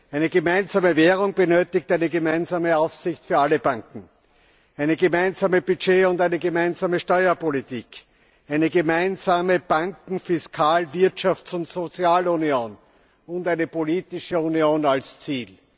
Eine gemeinsame Währung benötigt eine gemeinsame Aufsicht für alle Banken, eine gemeinsame Budget und eine gemeinsame Steuerpolitik, eine gemeinsame Banken Fiskal Wirtschafts und Sozialunion und eine politische Union als Ziel.